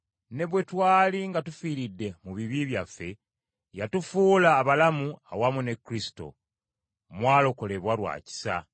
ne bwe twali nga tufiiridde mu bibi byaffe, yatufuula abalamu awamu ne Kristo. Mwalokolebwa lwa kisa.